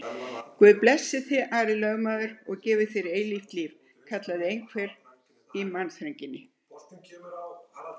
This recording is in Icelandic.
Guð blessi þig, Ari lögmaður, og gefi þér eilíft líf, kallaði einhver í mannþrönginni.